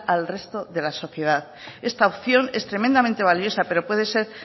al resto de la sociedad esta opción es tremendamente valiosa pero puede ser